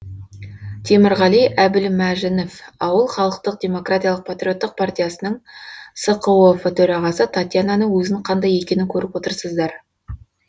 темірғали әбілмәжінов ауыл халықтық демократиялық патриоттық партиясының сқоф төрағасы татьянаның өзін қандай екенін көріп отырсыздар